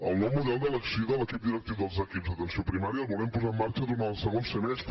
el nou model d’elecció dels equips directius d’atenció primària el volem posar en marxa durant el segon semestre